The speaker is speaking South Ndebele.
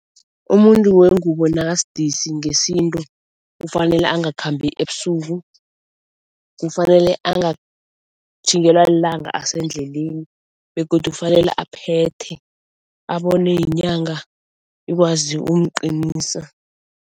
Umuntu wengubo nakasidisi ngesintu ufanele angakhambi ebusuku, kufanele angatjhingelwa lilanga asendleleni, begodu kufanele aphethe abonwe yinyanga ikwazi ukumqinisa.